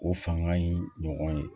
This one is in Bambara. O fanga in ɲɔgɔn ye